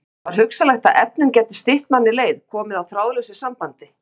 Var hugsanlegt að efnin gætu stytt manni leið, komið á þráðlausu sambandi?